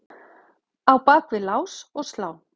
á bak við lás og slá.